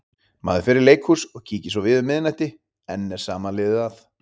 Maður fer í leikhús og kíkir svo við um miðnætti- enn er sama liðið að.